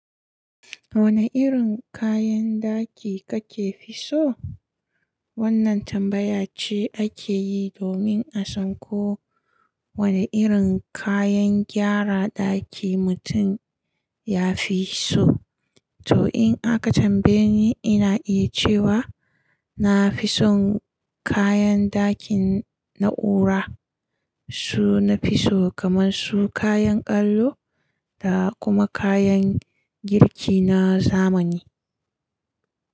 Wane irin kayan ɗaki kake fi so? Wannan tambaya ce ake yi domin a san ko wane irin kayan gyara ɗaki mutum ya fi so. To, in aka tambaye ni, ina iya cewa na fi son kayan dakin na'ura. Su nafi so kaman su kayan ƙallo da kuma kayan girki na zamani.